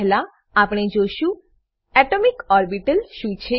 પહેલા આપણે જોશું એટોમિક ઓર્બિટલ એટોમિક ઓર્બીટલ શું છે